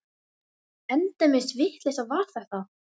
Það segir barónessan þó gott um íbúana að þeir kunna vel til sútunar.